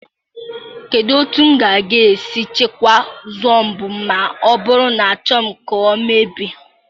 Kedu otu m ga-esi chekwaa Zobo ma ọ bụrụ na achọghị m ka ọ emebi?